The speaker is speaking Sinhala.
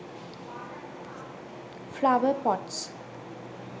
flower pots